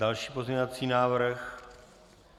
Další pozměňovací návrh?